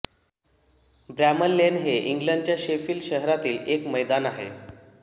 Bramall Lane हे इंग्लंडच्या Sheffield शहरातील एक मैदान आहे